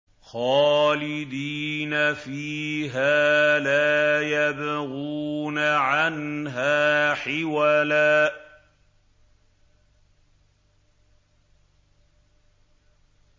خَالِدِينَ فِيهَا لَا يَبْغُونَ عَنْهَا حِوَلًا